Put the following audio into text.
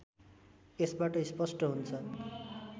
यसबाट स्पष्ट हुन्छ